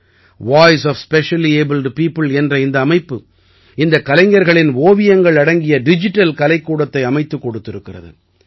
voice of specially abled people என்ற இந்த அமைப்பு இந்தக் கலைஞர்களின் ஓவியங்கள் அடங்கிய டிஜிட்டல் கலைக்கூடத்தை அமைத்துக் கொடுத்திருக்கிறது